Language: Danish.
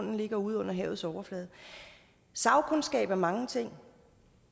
den ligger ude under havets overflade sagkundskab er mange ting